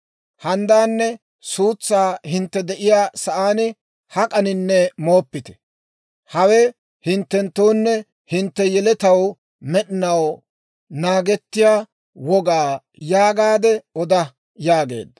« ‹Handdaanne suutsaa hintte de'iyaa sa'aan hak'aninne mooppite. Hawe hinttenttoonne hintte yeletaw med'inaw naagettiyaa wogaa› yaagaade oda» yaageedda.